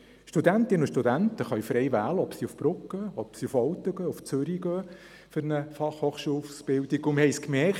Studentinnen und Studenten können frei wählen, ob sie für eine Fachhochschul-Ausbildung nach Brugg, Olten oder Zürich gehen.